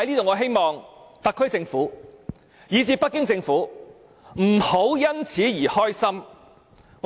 我希望特區政府及北京政府，不要為此感到高興。